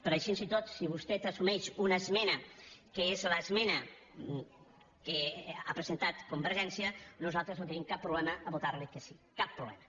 però així i tot si vostè assumeix una esmena que és l’esmena que ha presentat convergència nosaltres no tenim cap problema a votar li que sí cap problema